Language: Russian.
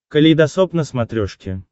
калейдосоп на смотрешке